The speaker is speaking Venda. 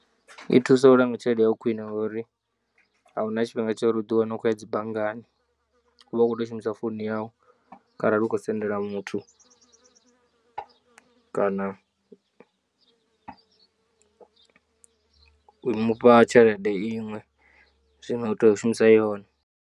I thusa u langa tshelede yau khwiṋe ngori ahuna tshifhinga tsha uri uḓi wane u khou ya dzi banngani uvha u kho tou shumisa founu yau kharali u khou sendela muthu kana u mufha tshelede iṅwe zwino u tea u shumisa yone.